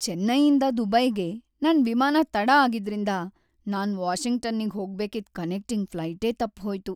ಚೆನ್ನೈಯಿಂದ ದುಬೈಗೆ ನನ್ ವಿಮಾನ ತಡ ಆಗಿದ್ರಿಂದ ನಾನ್ ವಾಷಿಂಗ್ಟನ್ನಿಗ್ ಹೋಗ್ಬೇಕಿದ್‌ ಕನೆಕ್ಟಿಂಗ್ ಫ್ಲೈಟೇ ತಪ್ಪ್‌ಹೋಯ್ತು.